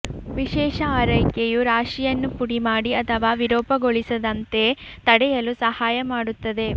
ವಿಶೇಷ ಆರೈಕೆಯು ರಾಶಿಯನ್ನು ಪುಡಿಮಾಡಿ ಅಥವಾ ವಿರೂಪಗೊಳಿಸದಂತೆ ತಡೆಯಲು ಸಹಾಯ ಮಾಡುತ್ತದೆ